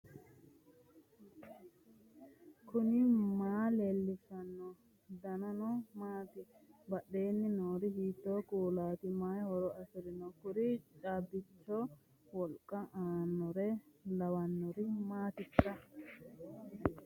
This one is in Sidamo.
knuni maa leellishanno ? danano maati ? badheenni noori hiitto kuulaati ? mayi horo afirino ? kuri caabbichoho wolqa aannore lawannori maatikka